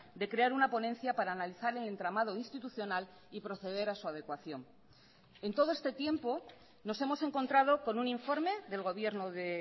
de crear una ponencia para analizar el entramado institucional y proceder a su adecuación en todo este tiempo nos hemos encontrado con un informe del gobierno de